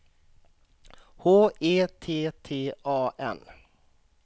H E T T A N